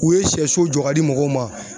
U ye siyɛso jɔ ka di mɔgɔw ma.